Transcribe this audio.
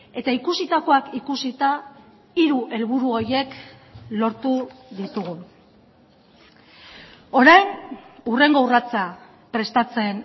eta ikusitakoak ikusita hiru helburu horiek lortu ditugu orain hurrengo urratsa prestatzen